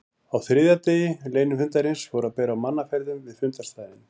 Á þriðja degi leynifundarins fór að bera á mannaferðum við fundarstaðinn.